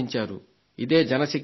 ఇదే జన శక్తి అంటే